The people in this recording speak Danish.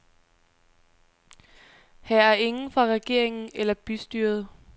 Her er ingen fra regeringen eller bystyret.